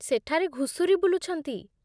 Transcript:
ସେଠାରେ ଘୁଷୁରି ବୁଲୁଛନ୍ତି।